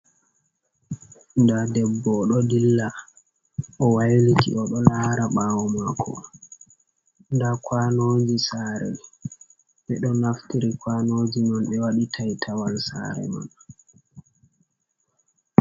Nda debbo oɗo dilla owailiti oɗo lara ɓawo mako, nda kwanoji sare mai, ɓeɗo naftiri kwanoji man be waɗi taitawal sare man.